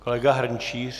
Kolega Hrnčíř?